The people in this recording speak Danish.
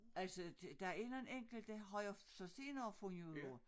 Altså der er nogen enkelte har jeg så senere fundet ud af